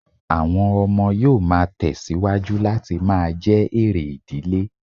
Àwọn ọmọ yóò má tẹ̀ síwájú láti máa jẹ́ èrè ìdílé